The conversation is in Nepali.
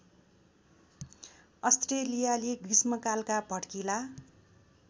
अस्ट्रेलियाली ग्रीष्मकालका भड्किला